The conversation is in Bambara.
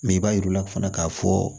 Mɛ i b'a jira u la fana k'a fɔ